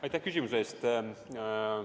Aitäh küsimuse eest!